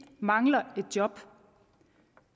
mangler et job